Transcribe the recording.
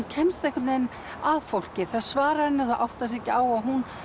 kemst einhvern veginn að fólki það svarar henni og áttar sig ekki á að hún